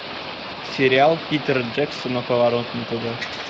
сериал питера джексона поворот не туда